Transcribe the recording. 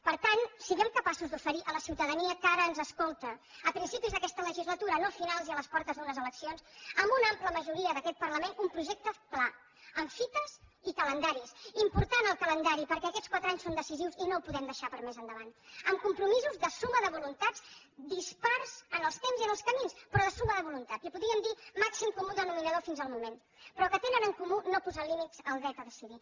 per tant siguem capaços d’oferir a la ciutadania que ara ens escolta a principis d’aquesta legislatura no a finals i a les portes d’unes eleccions amb una ampla majoria d’aquest parlament un projecte clar amb fites i calendaris important el calendari perquè aquests quatre anys són decisius i no ho podem deixar per a més endavant amb compromisos de suma de voluntats dispars en els temps i en els camins però de suma de voluntats li’n podríem dir màxim comú denominador fins al moment però que tenen en comú no posar límits al dret a decidir